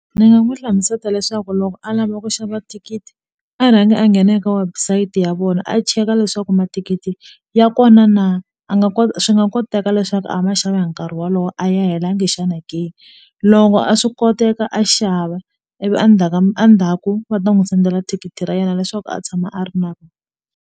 Ndzi nga n'wi hlamusela leswaku loko a lava ku xava thikithi a rhanga a nghena eka website ya vona a cheka leswaku mathikithi ya kona na a nga kota swi nga koteka leswaku a a ma xava hi nkarhi wolowo a ya helanga xana ke loko a swi koteka a xava ivi a ndzhaku ka a ndzhaku va ta n'wi sendela thikithi ra yena leswaku a tshama a ri na rona.